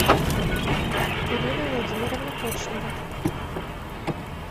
ирина владимировна кочнева